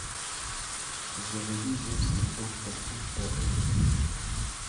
заводи земский доктор ультра эйч ди